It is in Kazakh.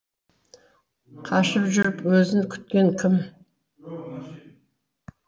қашып жүріп өзін күткен кім